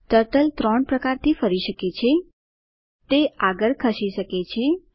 turtle ત્રણ પ્રકારથી ફરી શકે છે તે આગળ ખસી શકે છે